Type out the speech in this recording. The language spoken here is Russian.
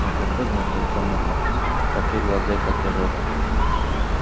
но как выгнуто это мурло какие глаза и какие рога